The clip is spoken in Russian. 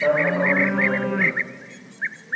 тайная комната снова открыта